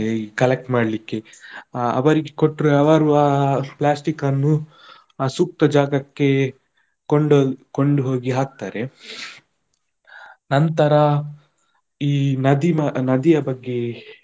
ಈ collect ಮಾಡ್ಲಿಕ್ಕೆ ಅವರಿಗೆ ಕೊಟ್ರೆ ಅವರು ಆ plastic ಅನ್ನು ಅ ಸೂಕ್ತ ಜಾಗಕ್ಕೆ ಕೊಂಡು ಕೊಂಡು ಹೋಗಿ ಹಾಕ್ತಾರೆ, ನಂತರ ಈ ನದಿ ನದಿಯ ಬಗ್ಗೆ.